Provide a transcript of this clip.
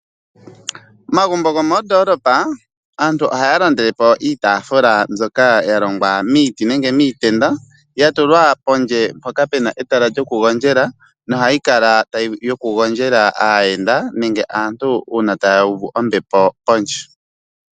Omagumbo gomondoolopa aantu ohaya landele po iitaafula mbyoka yalongwa miiti nenge miitenda. Ohayi kala ta tulwa pondje moka pena etala lyoku gondjela, ohayi kala yoku gondjela aayenda nenge aantu ngele taya uvu ombepo pondje.